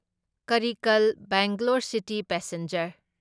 Karaikal Bangalore city passenger